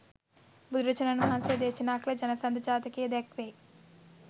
බුදුරජාණන් වහන්සේ දේශනා කළ ජනසන්ධ ජාතකයේ දැක්වෙයි.